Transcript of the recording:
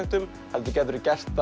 heldur gætirðu gert